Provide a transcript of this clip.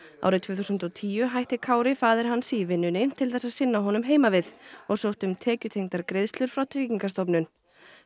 árið tvö þúsund og tíu hætti Kári faðir hans í vinnunni til þess að sinna honum heima við og sótti um tekjutengdar greiðslur frá Tryggingastofnun